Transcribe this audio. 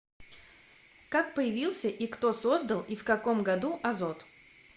как появился и кто создал и в каком году азот